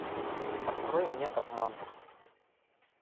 открой мне обман